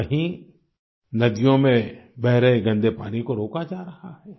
तो कहीं नदियों में बह रहे गंदे पानी को रोका जा रहा है